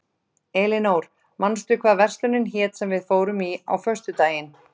Elinór, manstu hvað verslunin hét sem við fórum í á föstudaginn?